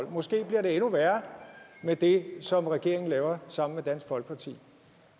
og måske bliver det endnu værre med det som regeringen laver sammen med dansk folkeparti